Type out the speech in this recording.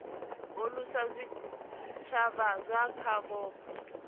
alusa zwitshavha zwa kha vhupo